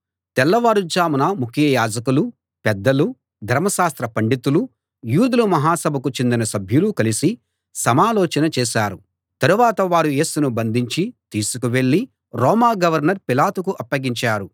తెల్లవారు జామున ముఖ్య యాజకులు పెద్దలు ధర్మశాస్త్ర పండితులు యూదుల మహాసభకు చెందిన సభ్యులు కలసి సమాలోచన చేశారు తరువాత వారు యేసును బంధించి తీసుకువెళ్ళి రోమా గవర్నర్ పిలాతుకు అప్పగించారు